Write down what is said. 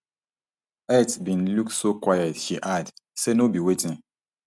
earth bin look so quiet she add say no be wetin